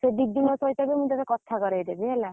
ଆଉ ସେ ଦିଦିଙ୍କ ସହ ବି ତତେ କଥା କରେଇଦେବି ହେଲା।